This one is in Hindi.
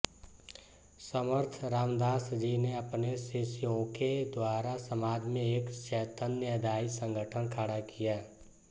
समर्थ रामदास जी ने अपने शिष्योंके द्वारा समाज में एक चैतन्यदायी संगठन खड़ा किया